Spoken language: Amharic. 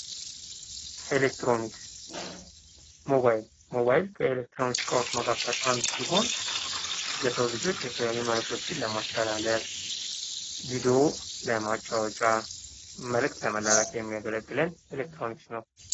ኤለክትሮኒክስ፦ ሞባይል፦ ሞባይል ከኤሌክትሮኒክስ እቃዎች መካከል አንዱ ሲሆን ለሰው ልኮች የተለያዩ መለክቶችን ለማስተላለፍ፣ ቪድዮ ለማጫዎት፣ የተለያዩ መልእክቶችን ለመላላክ የሚያገለግለን ኤሌክትሮኒክስ ነው።